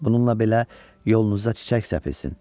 Bununla belə, yolunuza çiçək səpilsin.